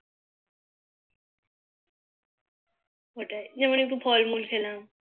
ওটাই যেমন একটু ফল মূল খেলাম